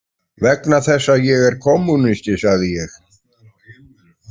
Vegna þess að ég er kommúnisti, sagði ég.